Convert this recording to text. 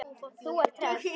Þú ert hress!